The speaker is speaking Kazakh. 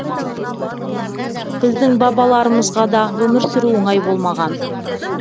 біздің бабаларымызға да өмір сүру оңай болмаған